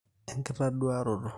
enkitoduaroto